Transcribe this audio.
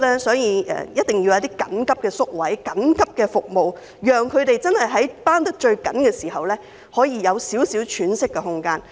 所以，我們提出增加緊急宿位及提供緊急服務，讓他們在最繃緊的時候可以有少許喘息的空間。